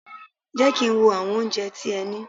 Jẹ́ kí n wo àwọn oúnjẹ tí ẹ ní!